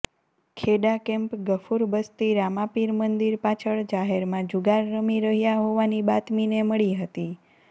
Kheda camp Gafur Basti Ramapir મંદીર પાછળ જાહેરમાં જુગાર રમી રહયા હોવાની બાતમીને મળી હતી